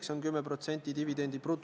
Jään selle juhatuse otsusega siis nõusse.